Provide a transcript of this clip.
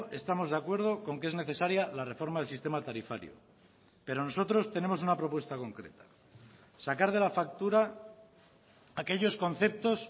estamos de acuerdo con que es necesaria la reforma del sistema tarifario pero nosotros tenemos una propuesta concreta sacar de la factura aquellos conceptos